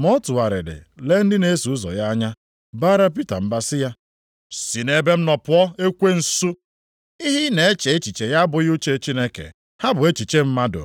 Ma ọ tụgharịrị lee ndị na-eso ụzọ ya anya, baara Pita mba sị ya, “Si nʼebe m nọ pụọ ekwensu! Ihe ị na-eche echiche ya abụghị uche Chineke, ha bụ echiche mmadụ.”